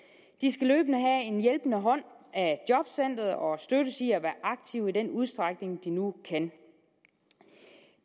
de skal løbende have en hjælpende hånd af jobcenteret og støttes i at være aktive i den udstrækning de nu kan